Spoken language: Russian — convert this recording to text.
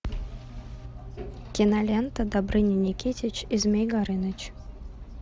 кинолента добрыня никитич и змей горыныч